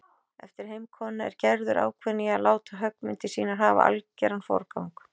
Eftir heimkomuna er Gerður ákveðin í að láta höggmyndir sínar hafa algeran forgang.